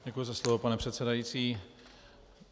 Děkuji za slovo, pane předsedající.